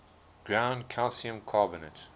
ground calcium carbonate